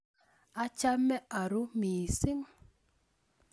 Achame arue mising